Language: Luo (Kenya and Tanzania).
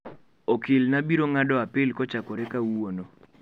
Okilna biro ng'ado apil kochakore kawuono.